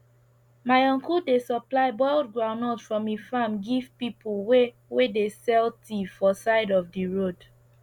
my uncle dey supply boiled groundnut from e farm give pipu wey wey dey sell tea for side of d road